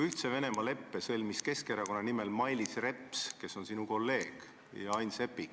Ühtse Venemaaga sõlmisid Keskerakonna nimel leppe Mailis Reps, kes on sinu kolleeg, ja Ain Seppik.